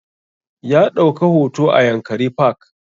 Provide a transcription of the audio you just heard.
Ya ɗauka hoto a yankari park